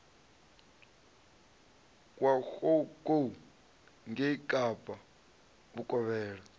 wa goukou ngei kapa vhukovhela